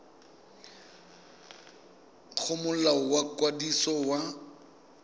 go molao wa ikwadiso wa